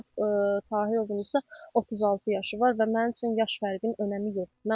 Furat Tahirovun isə 36 yaşı var və mənim üçün yaş fərqinin önəmi yoxdur.